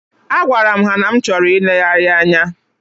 Agwaram ha na m chọrọ ilegharị anya.